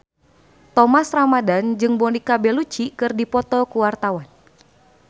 Thomas Ramdhan jeung Monica Belluci keur dipoto ku wartawan